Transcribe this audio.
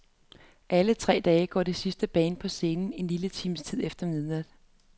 Alle tre dage går det sidste band på scenen en lille time efter midnat.